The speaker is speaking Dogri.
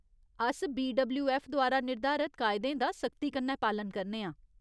अस बीडब्ल्यूऐफ्फ द्वारा निर्धारत कायदें दा सख्ती कन्नै पालन करने आं।